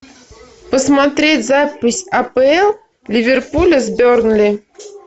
посмотреть запись апл ливерпуля с бернли